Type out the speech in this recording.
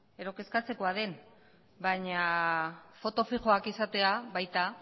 edo kezkatzekoa den baina foto fixoak izatea baita